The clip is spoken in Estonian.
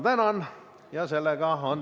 Tänan!